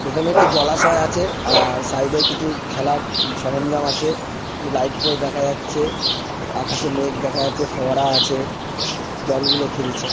এখানে একটি জলাশয় আছে আআর সাইডে কিছু খেলার সরঞ্জাম আছে এই লাইট পোস্ট দেখা যাচ্ছে আকাশে মেঘ দেখা যাচছে ফোয়ারা আছে জল গুলো খেলছে।